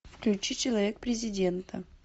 включи человек президента